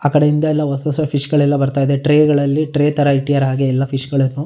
ಆಕಡೆ ಇಂದ ಎಲ್ಲ ಹೊಸ ಹೊಸ ಫಿಶ್ ಗಳೆಲ್ಲ ಬರ್ತಾ ಇದೆ ಟ್ರೈ ಗಳಲ್ಲಿ ಟ್ರೈ ತರ ಇಟ್ಟಿದ್ದಾರೆ ಹಾಗೆ ಎಲ್ಲ ಫಿಶ್ ಗಳನ್ನು.--